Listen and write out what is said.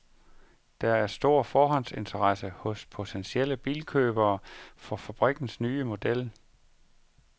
Der er en stor forhåndsinteresse hos potentielle bilkøbere for fabrikkens nye model.